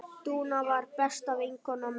Dúna var besta vinkona mömmu.